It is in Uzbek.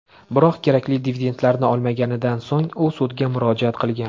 Biroq kerakli dividendlarni olmaganidan so‘ng u sudga murojaat qilgan.